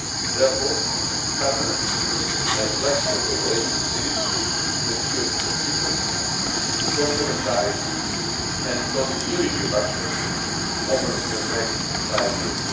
Therefore, permanent and flexible cooperation is needed to ensure consistency, complementarity and continuity of action over the next five years.